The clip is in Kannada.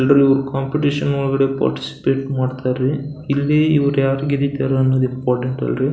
ಎಲ್ಲರು ಕಾಂಪಿಟಿಷನ್ ಒಳಗಡೆ ಪಾರ್ಟಿಸಿಪೇಟ್ ಮಾಡ್ತರೀ ಇಲ್ಲಿ ಯಾರ್ ಇವ್ರು ಯಾರ್ ಗೆದಿದ್ದರೆ ಅನ್ನೋದ್ ಇಂಪಾರ್ಟೆಂಟ್ ಅಲ್ರಿ.